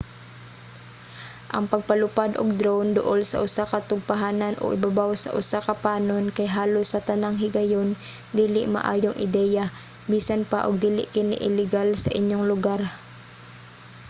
ang pagpalupad og drone duol sa usa ka tugpahanan o ibabaw sa usa ka panon kay halos sa tanang higayon dili maayong ideya bisan pa og dili kini ilegal sa inyong lugar